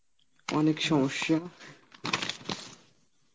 অনেক সমস্যা